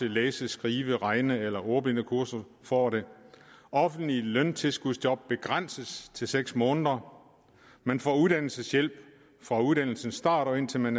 læse skrive regne eller ordblindekursus får det offentlige løntilskudsjob begrænses til seks måneder man får uddannelseshjælp fra uddannelsens start og indtil man